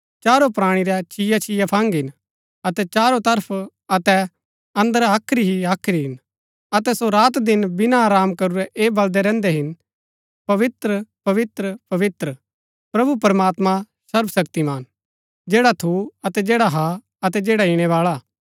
चारो प्राणी रै छिया छिया फंग हिन अतै चारो तरफ अतै अंदर हाख्री ही हाख्री हिन अतै सो रात दिन बिना आराम करूरै ऐ बलदै रहन्दै हिन पवित्र पवित्र पवित्र प्रभु प्रमात्मां सर्वशक्तिमान जैडा थू अतै जैडा हा अतै जैडा ईणैबाळा हा